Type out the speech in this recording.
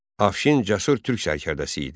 Afşin cəsur türk sərkərdəsi idi.